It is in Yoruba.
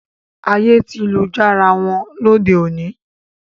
Ayé ti lu jára wọn lóde òní